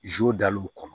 dal'o kɔnɔ